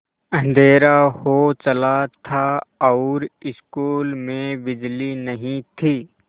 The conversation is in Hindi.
अँधेरा हो चला था और स्कूल में बिजली नहीं थी